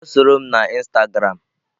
Bia soro m na instagram!